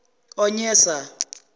onyesa